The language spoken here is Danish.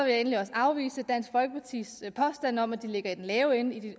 jeg endelig også afvise dansk folkepartis påstand om at vi ligger i den lave ende i